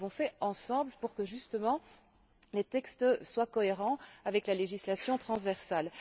Mais nous l'avons fait ensemble pour que, justement, les textes soient cohérents avec la législation transversale.